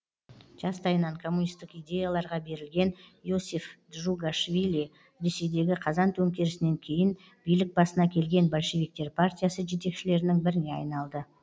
жастайынан коммунистік идеяларға берілген иосиф джугашвили ресейдегі қазан төңкерісінен кейін билік басына келген большевиктер партиясы жетекшілерінің біріне айналды